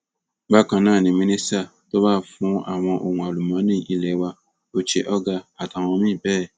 bákan náà ni mínísítà tó wà fún àwọn ohun àlùmọọnì ilé wa uche ogar àtàwọn míín bẹẹ